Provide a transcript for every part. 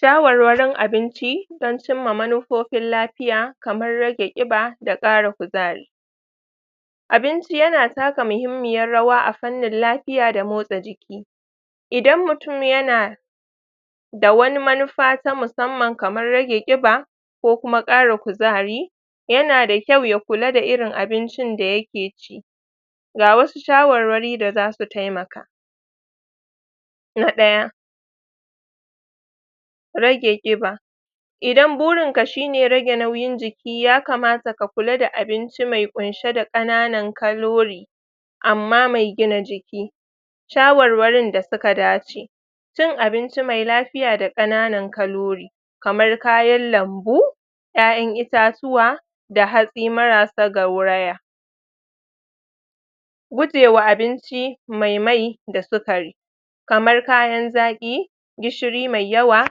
shawarwarin abinci don cimma manufofin lafiya kamar rage ƙiba da ƙara kuzari abinci yana taka mahimmiyar rawa a fannin lafiya da motsa jiki idan mutum yana da wani manufa ta musamman kaman rage ƙiba ko kuma ƙara kuzari yana da kyau ya kula da irin abincin da yake ci ga wasu shawarwari da zasu taimaka na ɗaya rage ƙiba idan burinka shine rage nauyin jiki yakamata ka kula da abinci mai ƙunshe da ƙananan kalori amma mai gina jiki shawarwarin da suka dace cin abinci mai lafiya da ƙananan kalori kamar kayan lambu ƴaƴan itatuwa da hatsi marasa gaurawa gujewa abinci mai mai da sikari kamar kayan zaƙi gishiri mai yawa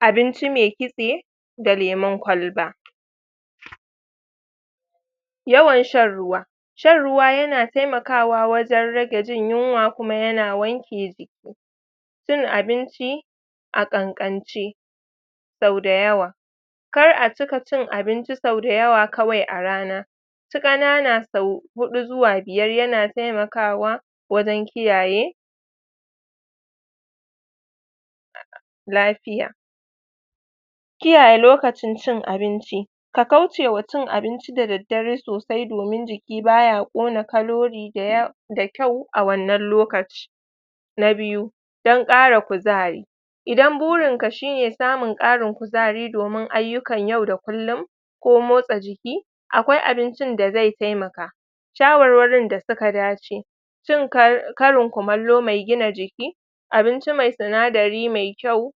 abinci me kitse da lemun kwalba? yawan shan ruwa shan ruwa yana taimakawa wajen rage jin yunwa kuma yana wanke jiki cin abinci a ƙanƙance sau dayawa kara cika cin abinci sau dayawa kawai a rana ci ƙanana sau huɗu zuwa biyar yana taimakawa wajen kiyaye? lafiya kiyaye lokacin cin abinci a kaucewa cin abinci da daddare sosai domin jiki baya ƙona kalori daya da kyau a wannan lokaci na biyu don ƙara kuzari idan burinka shine samun ƙarin kuzari domin ayyukan yau da kullun ko motsa jiki akwai abincin da zai taimaka shawarwarin da suka dace cin ka karin kumallo mai gina jiki abinci mai sinadari mai kyau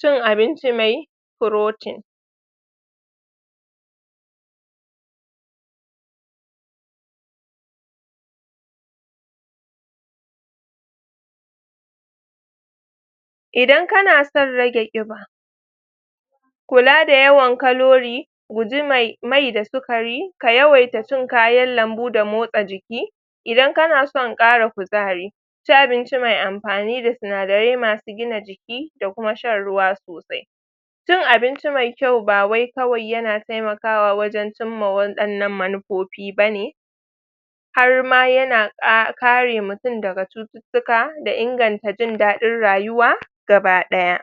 cin abinci mai purotin idan kana son rage ƙiba kula da yawan kalori guji mai mai da sikari ka yawaita cin kayan lambu da motsa jiki idan kana son ƙara kuzari ci abinci mai ampani da sinadarai masu gina jiki da kuma shan ruwa sosai cin abinci mai kyau ba wai kawai yana taimakawa wajen cimma waɗannan manupopi bane har ma yana ƙa kare mutun daga cututtuka da inganta jin daɗin rayuwa gaba ɗaya